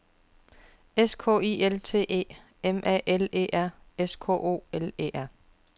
S K I L T E M A L E R S K O L E R